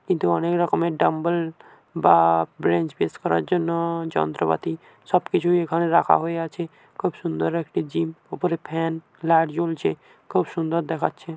কিন্তু অনেক রকমের ডাম্বেল বা-আ-আ ব্রেঞ্জ পেশ করার জন্য-ও যন্ত্রপাতি সবকিছুই এখানে রাখা হয়ে আছে। খুব সুন্দর একটি জিম ওপরে ফ্যান লাইট জ্বলছে। খুব সুন্দর দেখাচ্ছে।